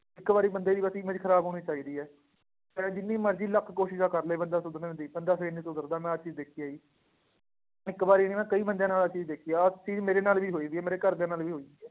ਇੱਕ ਵਾਰੀ ਬੰਦੇ ਦੀ ਬਸ image ਖ਼ਰਾਬ ਹੋਣੀ ਚਾਹੀਦੀ ਹੈ, ਫਿਰ ਜਿੰਨੀ ਮਰਜ਼ੀ ਲੱਖ ਕੋਸ਼ਿਸ਼ਾਂ ਕਰ ਲਏ ਬੰਦਾ ਸੁਧਰਨ ਦੀ ਬੰਦਾ ਫਿਰ ਨੀ ਸੁਧਰਦਾ ਮੈਂ ਆਹ ਚੀਜ਼ ਦੇਖੀ ਹੈਗੀ ਇੱਕ ਵਾਰੀ ਨੀ ਮੈਂ ਕਈ ਬੰਦਿਆਂ ਨਾਲ ਆਹ ਚੀਜ਼ ਦੇਖੀ ਹੈ, ਆਹ ਚੀਜ਼ ਮੇਰੇ ਨਾਲ ਵੀ ਹੋਈ ਹੋਈ ਹੈ, ਮੇਰੇ ਘਰਦਿਆਂ ਨਾਲ ਵੀ ਹੋਈ ਹੋਈ ਹੈ